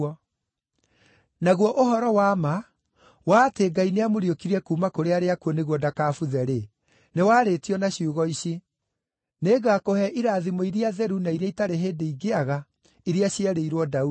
Naguo ũhoro wa ma wa atĩ Ngai nĩamũriũkirie kuuma kũrĩ arĩa akuũ nĩguo ndakabuthe-rĩ, nĩ warĩtio na ciugo ici: “ ‘Nĩngakũhe irathimo iria theru na iria itarĩ hĩndĩ ingĩaga iria cierĩirwo Daudi.’